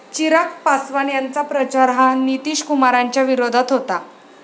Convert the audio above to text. चिराग पासवान यांचा प्रचार हा नितीशकुमारांच्या विरोधात होता.